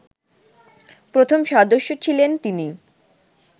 প্রথম সদস্য ছিলেন তিনি